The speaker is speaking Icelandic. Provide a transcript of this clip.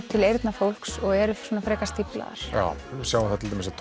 til eyrna fólks og eru frekar stíflaðar já við sjáum þarna til dæmis að